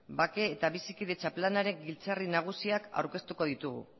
bake eta bizikidetza planaren giltzarri nagusiak aurkeztuko ditugu